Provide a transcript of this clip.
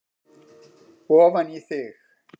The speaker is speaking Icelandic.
ofan í þig.